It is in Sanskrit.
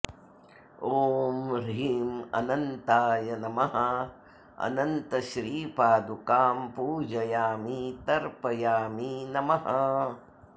ॐ ह्रीं अनन्ताय नमः अनन्तश्रीपादुकां पूजयामि तर्पयामि नमः